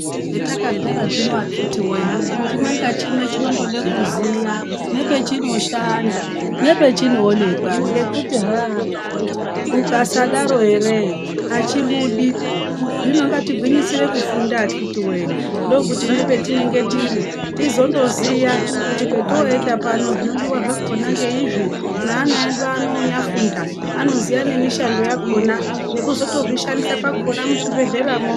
Metaka gara zvino akiti woyee chime nechimwe chinodai kuziya pachino shanda nepachinowonekwa ngekuti haa mukasadaro heree hachibudi hino ngatigwinyisire kufunda akiti wee ndokuti nepetinenge tiri tizondoziya kuti petoenda pano zvinodiwa zvino zvakona ndeizvi nevana veyinya funda anoziva nemishando yakona nekuchizotozvishandisa muchibhedhlera mwoo.